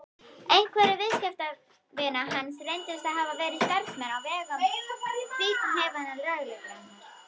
Einhverjir viðskiptavina hans reyndust hafa verið starfsmenn á vegum fíkniefnalögreglunnar.